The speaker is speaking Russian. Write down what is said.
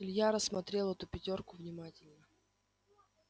илья рассмотрел эту пятёрку внимательно